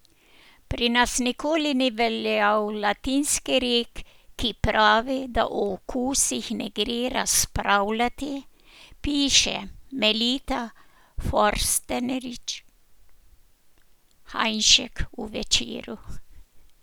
Pri nas nikoli ni veljal latinski rek, ki pravi, da o okusih ne gre razpravljati, piše Melita Forstnerič Hajnšek v Večeru.